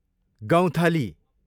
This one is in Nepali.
गौँथली